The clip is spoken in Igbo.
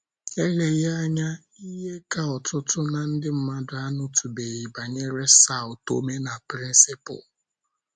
ELEGHỊ anya, ihe ka ọtụtụ ná ndị mmadụ anụtụbeghị banyere São Tomé na Príncipe.